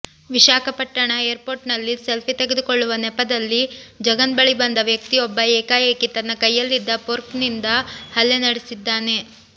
ವಿಶಾಖಪಟ್ಟಣ ಏರ್ಪೋರ್ಟ್ನಲ್ಲಿ ಸೆಲ್ಫಿ ತೆಗೆದುಕೊಳ್ಳುವ ನೆಪದಲ್ಲಿ ಜಗನ್ ಬಳಿ ಬಂದ ವ್ಯಕ್ತಿಯೊಬ್ಬ ಏಕಾಏಕಿ ತನ್ನ ಕೈಯಲ್ಲಿದ್ದ ಫೋರ್ಕ್ನಿಂದ ಹಲ್ಲೆ ನಡೆಸಿದ್ದಾನೆ